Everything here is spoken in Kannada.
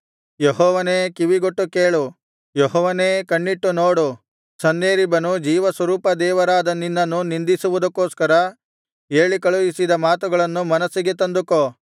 ಯೆಹೋವನೇ ಕಿವಿಗೊಟ್ಟು ಕೇಳು ಯೆಹೋವನೇ ಕಣ್ಣಿಟ್ಟು ನೋಡು ಸನ್ಹೇರೀಬನು ಜೀವಸ್ವರೂಪದೇವರಾದ ನಿನ್ನನ್ನು ನಿಂದಿಸುವುದಕ್ಕೋಸ್ಕರ ಹೇಳಿ ಕಳುಹಿಸಿದ ಮಾತುಗಳನ್ನು ಮನಸ್ಸಿಗೆ ತಂದುಕೋ